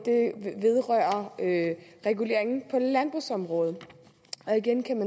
vedrører reguleringen på landbrugsområdet